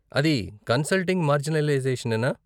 అది 'కన్సల్టింగ్ మార్జినలైజేషనా?